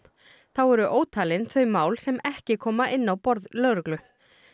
þá eru ótalin þau mál sem ekki koma inn á borð lögreglu